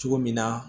Cogo min na